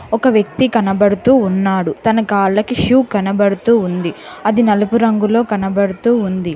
ఒక వ్యక్తి కనబడుతూ ఉన్నాడు తన కాళ్ళకి షూ కనబడుతూ ఉంది అది నలుపు రంగులో కనబడుతూ ఉంది.